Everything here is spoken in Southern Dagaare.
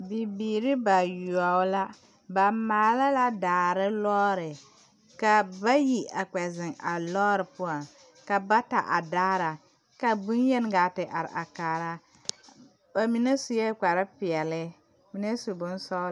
Bibiiri bayoɔ la ba maala la daare lɔɔre kaa bayi a kpɛ zeŋ a lɔɔre poɔŋ ka bata a daara ka bonyen gaa te are a kaara ba mine sue kpar peɛle ba mine su bonsɔgelɔ